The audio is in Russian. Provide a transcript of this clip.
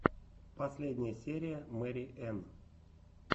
последняя серия мэри энн